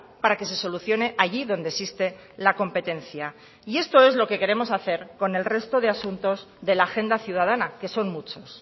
para que se solucione allí donde existe la competencia y esto es lo que queremos hacer con el resto de asuntos de la agenda ciudadana que son muchos